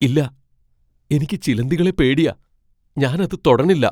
ഇല്ല! എനിക്ക് ചിലന്തികളെ പേടിയാ. ഞാൻ അത് തൊടണില്ലാ.